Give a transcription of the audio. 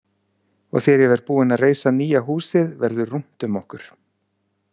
Og þegar ég verð búinn að reisa nýja húsið verður rúmt um okkur!